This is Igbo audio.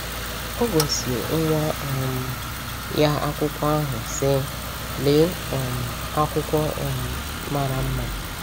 O gosi nwa um ya akwụkwọ ahụ, sị: “Lee um akwụkwọ um mara mma!”